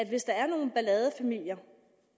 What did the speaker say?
hvis der er nogle balladefamilier